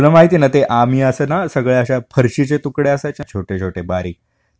तुला माहिते ना, आम्ही हे असं, सगळ्या असे फरशी चे तुकडे असायचे ना छोटे छोटे बारीक ,